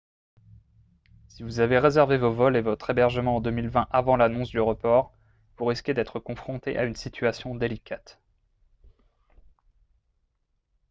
si vous avez réservé vos vols et votre hébergement en 2020 avant l'annonce du report vous risquez d'être confronté à une situation délicate